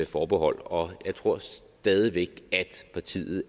forbehold og jeg tror stadig væk at partiet